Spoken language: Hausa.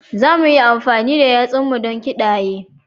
Za mu iya amfani da yatsunmu don ƙidaya